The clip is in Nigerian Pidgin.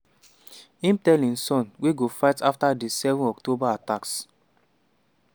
im tell im son wey go fight afta di 7 october attacks.